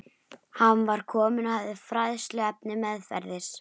Hann var kominn og hafði fræðsluefnið meðferðis.